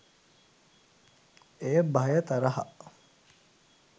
එය භය තරහ